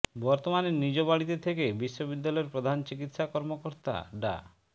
বর্তমানে নিজ বাড়িতে থেকে বিশ্ববিদ্যালয়ের প্রধান চিকিৎসা কর্মকর্তা ডা